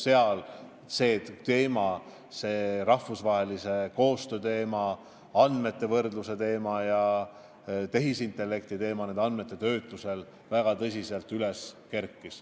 Seal kerkis väga tõsiselt üles ka rahvusvahelise koostöö teema, andmete võrdluse teema ja tehisintellekti panus nende andmete töötlemisel.